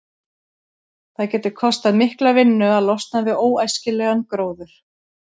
Það getur kostað mikla vinnu að losna við óæskilegan gróður.